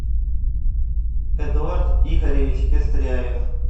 эдуард игоревич пестряев